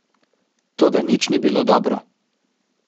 Toda nič ni bilo dobro.